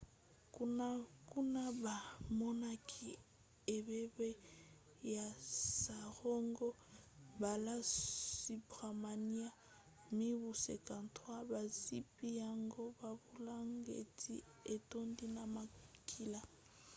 kuna bamonaki ebembe ya saroja balasubramanian mibu 53 bazipi yango babulangeti etondi na makila